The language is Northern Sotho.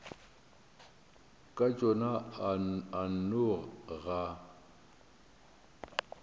ka tšona a nno ga